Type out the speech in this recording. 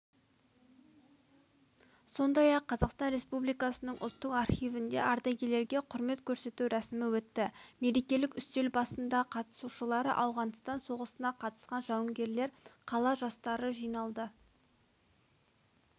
сондай-ақ қазақстан республикасының ұлттық архивінде ардагерлерге құрмет көрсету рәсімі өтті мерекелік үстел басында қатысушылары ауғанстан соғысына қатысқан жауынгерлер қала жастары жиналды